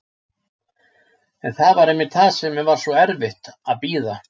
En það var einmitt það sem var svo erfitt, að bíða.